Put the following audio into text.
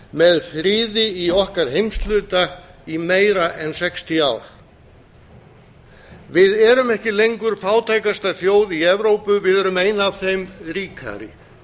með friði í okkar heimshluta í meira en sextíu ár við erum ekki lengur fátækasta þjóð í evrópu við erum ein af þeim ríkari